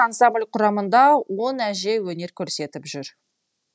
ансамбль құрамыңда он әже өнер көрсетіп жүр